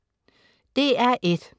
DR1: